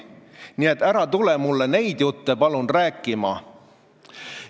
Nii et ära tule mulle neid jutte palun rääkima!